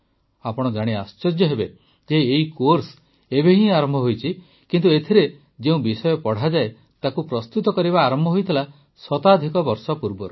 ଆପଣ ଜାଣି ଆଶ୍ଚର୍ଯ୍ୟ ହେବେ ଯେ ଏହି କୋର୍ସ ଏବେ ହିଁ ଆରମ୍ଭ ହୋଇଛି କିନ୍ତୁ ଏଥିରେ ଯେଉଁ ବିଷୟ ପଢ଼ାଯାଏ ତାକୁ ପ୍ରସ୍ତୁତ କରିବା ଆରମ୍ଭ ହୋଇଥିଲା ଶତାଧିକ ବର୍ଷ ପୂର୍ବରୁ